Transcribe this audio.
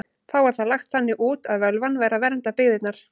Þá var það lagt þannig út að völvan væri að vernda byggðirnar.